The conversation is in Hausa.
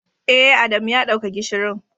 Eh, Adamu ya dauka gishirin.